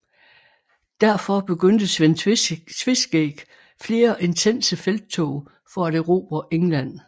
Derfor begyndte Svend Tveskæg flere intense felttog for at erobre England